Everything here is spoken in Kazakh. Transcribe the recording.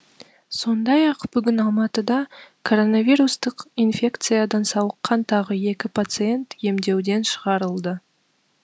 сондай ақ бүгін алматыда коронавирустық инфекциядан сауыққан тағы екі пациент емдеуден шығарылды